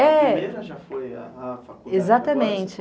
É, exatamente.